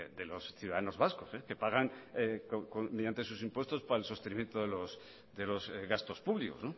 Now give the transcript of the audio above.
de los ciudadanos vascos que pagan mediante sus impuestos para el sostenimiento de los gastos públicos